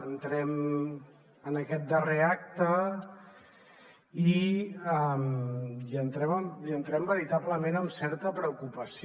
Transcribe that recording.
entrem en aquest darrer acte i hi entrem veritablement amb certa preocupació